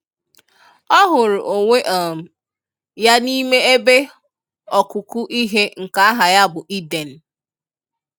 O hụrụ onwe um ya n'ime ebe okụkụ ihe nke aha ya bu Eden.